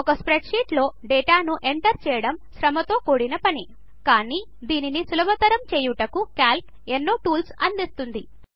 ఒక స్ప్రెడ్షీట్లో డేటాను ఎంటర్ చేయడం శ్రమతో కూడినది కాని దానిని సులభతరము చేయుటకు క్యాల్క్ ఎన్నో టూల్స్ అందిస్తుంది